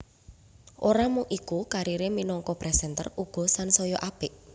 Ora mung iku karire minangka presenter uga sansaya apik